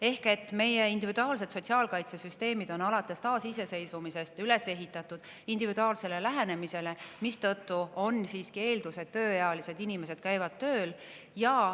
Ehk: meie individuaalsed sotsiaalkaitsesüsteemid on alates taasiseseisvumisest üles ehitatud individuaalsele lähenemisele, mistõttu on siiski eeldus, et tööealised inimesed käivad tööl.